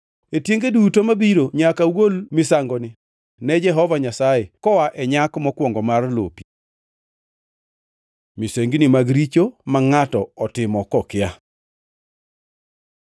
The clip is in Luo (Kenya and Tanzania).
E tienge duto mabiro nyaka ugol misangoni ne Jehova Nyasaye koa e nyak mokwongo mar lopi. Misengini mag richo ma ngʼato otimo kokia